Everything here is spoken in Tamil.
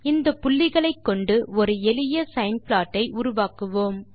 இந்த புள்ளிகளைக்கொண்டு ஒரு எளிய சைன் ப்ளாட் ஐ உருவாக்குவோம்